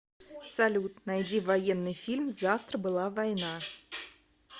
салют найди военный фильм завтра была война